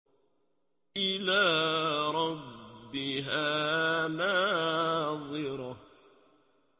إِلَىٰ رَبِّهَا نَاظِرَةٌ